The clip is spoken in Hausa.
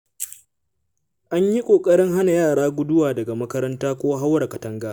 An yi ƙoƙarin hana yara guduwa daga makaranta ko haura katanga.